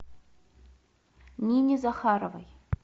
нине захаровой